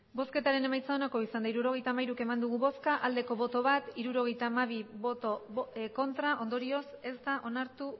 hirurogeita hamairu eman dugu bozka bat bai hirurogeita hamabi ez ondorioz ez da onartu